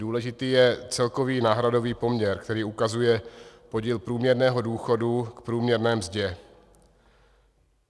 Důležitý je celkový náhradový poměr, který ukazuje podíl průměrného důchodu k průměrné mzdě.